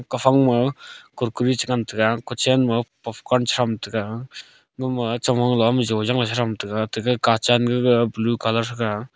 aphang ma kurkure cha ngan taga kuchan ma puftcorn charam taga gama chong la mijong la cha ngan blue colour thaga.